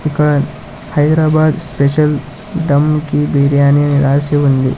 ఇక్కడ హైదరాబాద్ స్పెషల్ దమ్ కి బిర్యానీ అని రాసి ఉంది.